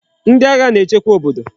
Ndi agha na echekwa obodo